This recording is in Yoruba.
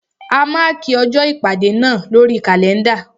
A mákì ọjọ́ ìpàdé náà lórí kàlẹ́ndà.